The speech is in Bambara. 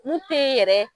Mun te yen yɛrɛ